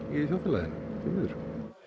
í þjóðfélaginu því miður